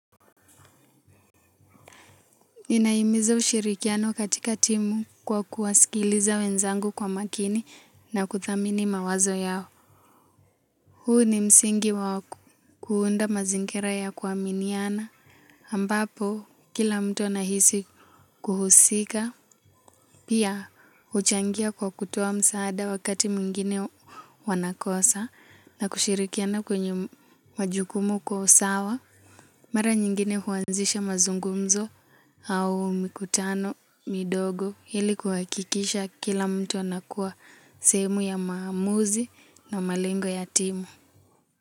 Ninahimiza ushirikiano katika timu kwa kuwasikiliza wenzangu kwa makini na kuthamini mawazo yao. Huu ni msingi wa kuuunda mazingira ya kuaminiana. Ambapo, kila mtu anahisi kuhusika. Pia, uchangia kwa kutoa msaada wakati mwingine wanakosa na kushirikiana kwenye majukumu kwa usawa. Mara nyingine huanzisha mazungumzo au mikutano midogo ili kuhakikisha kila mtu anakuwa sehemu ya maamuzi na malengo ya timu.